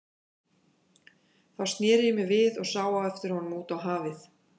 Þá sneri ég mér við og sá á eftir honum út á hafið.